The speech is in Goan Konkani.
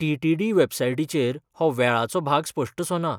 टी. टी. डी. वेबसाइटीचेर हो वेळाचो भाग स्पश्टसो ना.